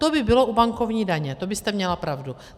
To by bylo u bankovní daně, to byste měla pravdu.